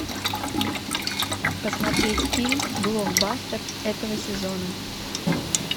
посмотреть фильм блокбастер этого сезона